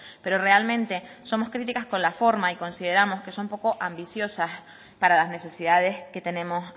pero realmente somos críticas con la forma y consideramos que son poco ambiciosas para las necesidades que tenemos